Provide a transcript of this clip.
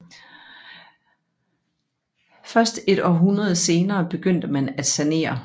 Først et århundrede senere begyndte man at sanere